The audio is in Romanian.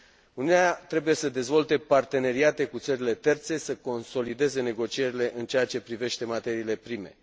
Uniunea trebuie să dezvolte parteneriate cu țările terțe, să consolideze negocierile în ceea ce privește materiile prime.